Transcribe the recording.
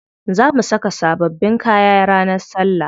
Za mu saka sababbin kaya ranar salla.